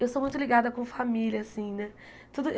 Eu sou muito ligada com família, assim, né? Tudo